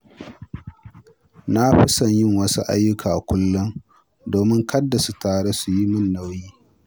Na fi son yin wasu ayyuka kullum domin kada su taru su yi min nauyi.